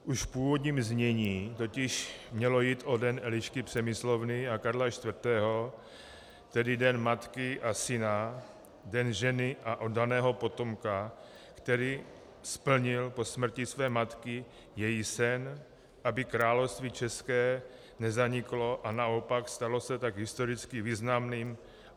Už v původním znění totiž mělo jít o Den Elišky Přemyslovny a Karla IV., tedy den matky a syna, den ženy a oddaného potomka, který splnil po smrti své matky její sen, aby Království české nezaniklo, a naopak stalo se tak historicky významným.